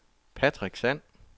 Patrick Sand